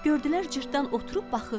Gördülər cırtdan oturub baxır.